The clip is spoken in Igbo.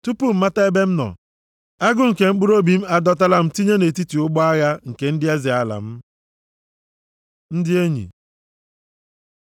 Tupu m mata ebe m nọ, agụ nke mkpụrụobi m adọtala m tinye nʼetiti ụgbọ agha nke ndị eze ala m. Ndị Enyi